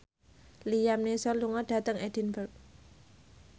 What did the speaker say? Liam Neeson lunga dhateng Edinburgh